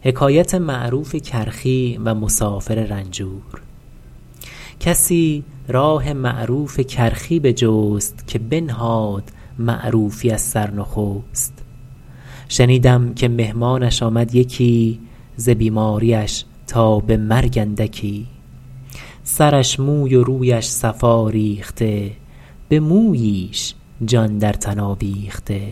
کسی راه معروف کرخی بجست که بنهاد معروفی از سر نخست شنیدم که مهمانش آمد یکی ز بیماریش تا به مرگ اندکی سرش موی و رویش صفا ریخته به موییش جان در تن آویخته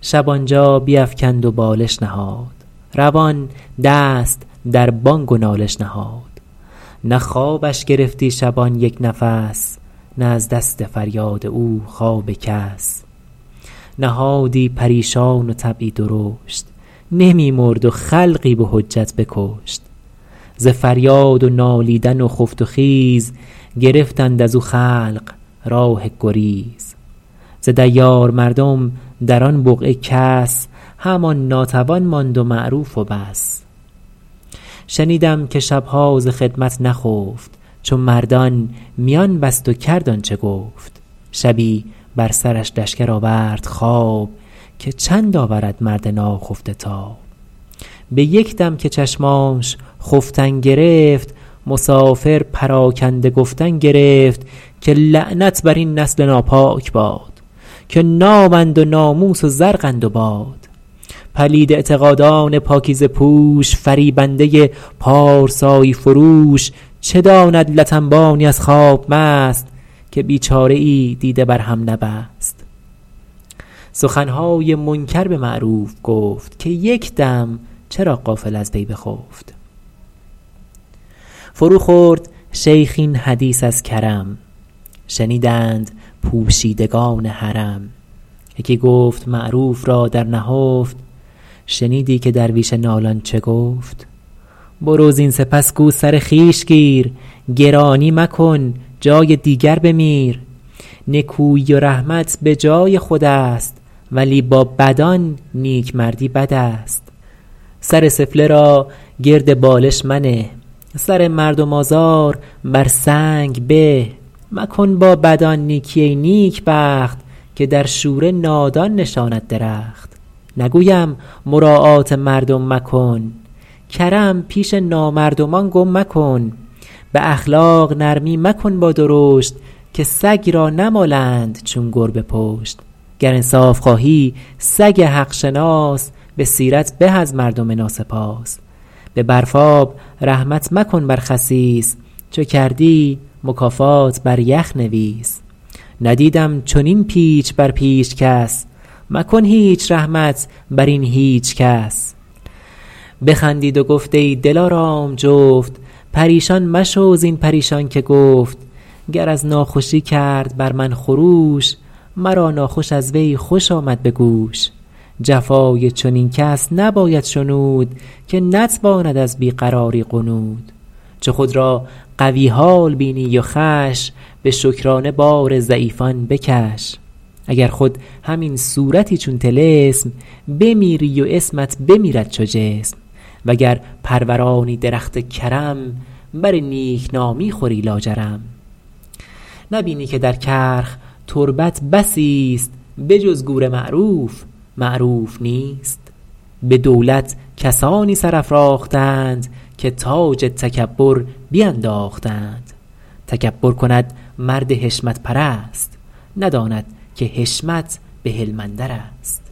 شب آنجا بیفکند و بالش نهاد روان دست در بانگ و نالش نهاد نه خوابش گرفتی شبان یک نفس نه از دست فریاد او خواب کس نهادی پریشان و طبعی درشت نمی مرد و خلقی به حجت بکشت ز فریاد و نالیدن و خفت و خیز گرفتند از او خلق راه گریز ز دیار مردم در آن بقعه کس همان ناتوان ماند و معروف و بس شنیدم که شبها ز خدمت نخفت چو مردان میان بست و کرد آنچه گفت شبی بر سرش لشکر آورد خواب که چند آورد مرد ناخفته تاب به یک دم که چشمانش خفتن گرفت مسافر پراکنده گفتن گرفت که لعنت بر این نسل ناپاک باد که نامند و ناموس و زرقند و باد پلید اعتقادان پاکیزه پوش فریبنده پارسایی فروش چه داند لت انبانی از خواب مست که بیچاره ای دیده بر هم نبست سخنهای منکر به معروف گفت که یک دم چرا غافل از وی بخفت فرو خورد شیخ این حدیث از کرم شنیدند پوشیدگان حرم یکی گفت معروف را در نهفت شنیدی که درویش نالان چه گفت برو زین سپس گو سر خویش گیر گرانی مکن جای دیگر بمیر نکویی و رحمت به جای خود است ولی با بدان نیکمردی بد است سر سفله را گرد بالش منه سر مردم آزار بر سنگ به مکن با بدان نیکی ای نیکبخت که در شوره نادان نشاند درخت نگویم مراعات مردم مکن کرم پیش نامردمان گم مکن به اخلاق نرمی مکن با درشت که سگ را نمالند چون گربه پشت گر انصاف خواهی سگ حق شناس به سیرت به از مردم ناسپاس به برفاب رحمت مکن بر خسیس چو کردی مکافات بر یخ نویس ندیدم چنین پیچ بر پیچ کس مکن هیچ رحمت بر این هیچ کس بخندید و گفت ای دلارام جفت پریشان مشو زین پریشان که گفت گر از ناخوشی کرد بر من خروش مرا ناخوش از وی خوش آمد به گوش جفای چنین کس نباید شنود که نتواند از بی قراری غنود چو خود را قوی حال بینی و خوش به شکرانه بار ضعیفان بکش اگر خود همین صورتی چون طلسم بمیری و اسمت بمیرد چو جسم وگر پرورانی درخت کرم بر نیکنامی خوری لاجرم نبینی که در کرخ تربت بسی است به جز گور معروف معروف نیست به دولت کسانی سر افراختند که تاج تکبر بینداختند تکبر کند مرد حشمت پرست نداند که حشمت به حلم اندر است